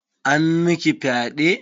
An miki fyaɗe?